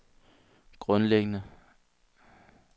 grundlæggende